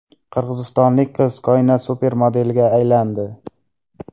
Qirg‘izistonlik qiz Koinot supermodeliga aylandi.